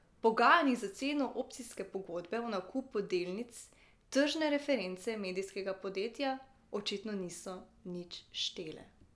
V pogajanjih za ceno opcijske pogodbe o nakupu delnic tržne reference medijskega podjetja očitno niso nič štele.